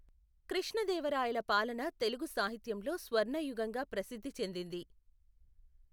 కృష్ణదేవరాయల పాలన తెలుగు సాహిత్యంలో స్వర్ణయుగంగా ప్రసిద్ధి చెందింది.